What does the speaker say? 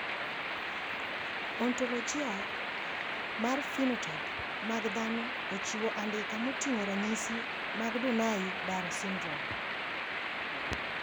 Ontologia mar phenotype mag dhano ochiwo andika moting`o ranyisi mag Donnai Barrow syndrome.